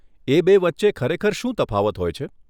એ બે વચ્ચે ખરેખર શું તફાવત હોય છે?